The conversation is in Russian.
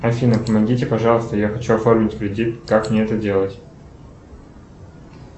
афина помогите пожалуйста я хочу оформить кредитку как мне это делать